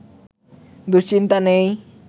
দুশ্চিন্তা নেই